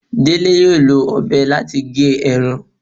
Dele yóò lọ obé latí gé erán